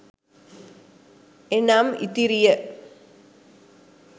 එනම්ඉතිරිය »